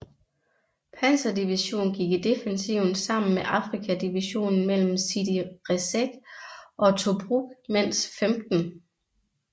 Panzerdivision gik i defensiven sammen med Afrika Divisionen mellem Sidi Rezegh og Tobruk mens 15